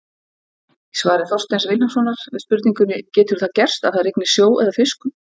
Í svari Þorsteins Vilhjálmssonar við spurningunni Getur það gerst að það rigni sjó eða fiskum?